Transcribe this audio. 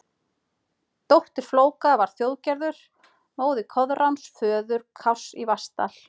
Dóttir Flóka var Þjóðgerður, móðir Koðráns, föður Kárs í Vatnsdal.